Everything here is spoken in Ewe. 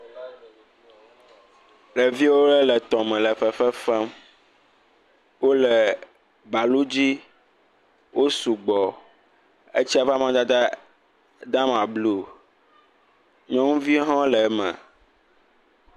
Ɖevi aɖewo le tɔ me le fefe fem wole balu dzi wo sugbɔ etsia ƒe amadede de ama blu nyɔnuviwo ha le eme